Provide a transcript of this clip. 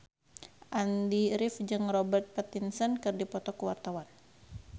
Andy rif jeung Robert Pattinson keur dipoto ku wartawan